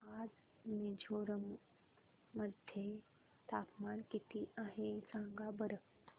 आज मिझोरम मध्ये तापमान किती आहे सांगा बरं